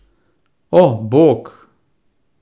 O, bog!